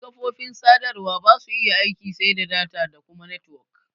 Duk kafofin sadarwa basu iya aiki sai da data da kuma netwok.